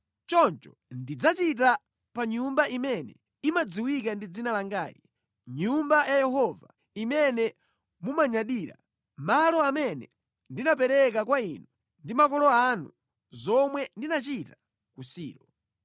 choncho ndidzachita pa Nyumba imene imadziwika ndi Dzina langayi, Nyumba ya Yehova imene mumayidalira, malo amene ndinapereka kwa inu ndi makolo anu, zomwe ndinachita ku Silo.